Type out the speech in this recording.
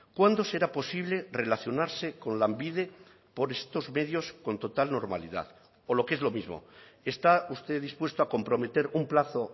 cuándo será posible relacionarse con lanbide por estos medios con total normalidad o lo que es lo mismo está usted dispuesto a comprometer un plazo